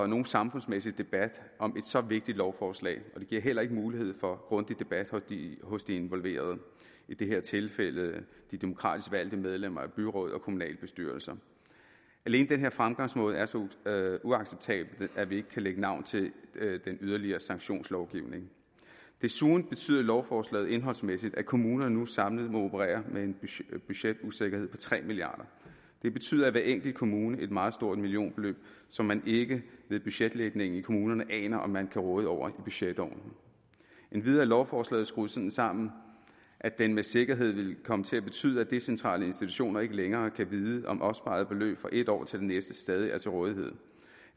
nogen samfundsmæssig debat om et så vigtigt lovforslag og det giver heller ikke mulighed for grundig debat hos de involverede i det her tilfælde de demokratisk valgte medlemmer af byråd og kommunalbestyrelser alene den fremgangsmåde er så uacceptabel at vi ikke kan lægge navn til den yderligere sanktionslovgivning desuden betyder lovforslaget indholdsmæssigt at kommunerne nu samlet må operere med en budgetusikkerhed på tre milliard det betyder i hver enkelt kommune et meget stort millionbeløb som man ikke ved budgetlægning i kommunerne aner om man kan råde over i budgetårene endvidere er lovforslaget skruet sådan sammen at det med sikkerhed vil komme til betyde at decentrale institutioner ikke længere kan vide om opsparede beløb fra et år til det næste stadig er til rådighed